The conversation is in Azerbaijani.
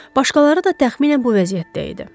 Başqaları da təxminən bu vəziyyətdə idi.